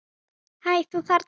Hæ, þú þarna!